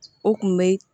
O kun be